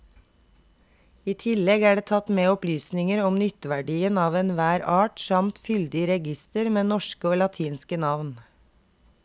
I tillegg er det tatt med opplysninger om nytteverdien av enhver art samt fyldig reigister med norske og latinske navn.